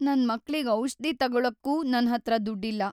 ನನ್ ಮಕ್ಳಿಗ್ ಔಷ್ಧಿ ತಗೊಳಕ್ಕೂ ನನ್ಹತ್ರ ದುಡ್ಡಿಲ್ಲ.